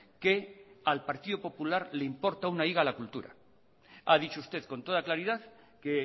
que al partido popular le importa una higa la cultura ha dicho usted con toda claridad que